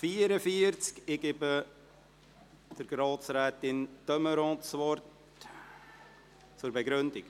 Ich gebe Grossrätin de Meuron das Wort für eine Begründung.